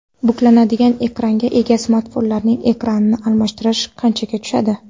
Buklanadigan ekranga ega smartfonlarning ekranini almashtirish qanchaga tushadi?.